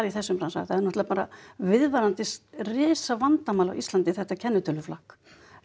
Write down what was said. þessum bransa það er náttúrulega viðvarandi risavandamál á Íslandi þetta kennitöluflakk